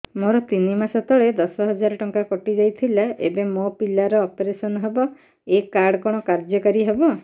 ମୋର ତିନି ମାସ ତଳେ ଦଶ ହଜାର ଟଙ୍କା କଟି ଯାଇଥିଲା ଏବେ ମୋ ପିଲା ର ଅପେରସନ ହବ ଏ କାର୍ଡ କଣ କାର୍ଯ୍ୟ କାରି ହବ